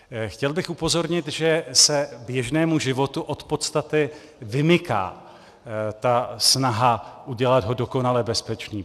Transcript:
Chtěl bych upozornit, že se běžnému životu od podstaty vymyká ta snaha udělat ho dokonale bezpečný.